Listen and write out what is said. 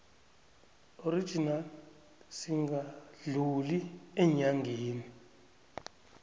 original singadluli eenyangeni